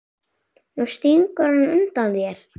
Nú stingur hann undan þér!